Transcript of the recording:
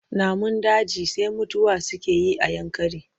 Namun daji sai mutuwa suke yi a Yankari.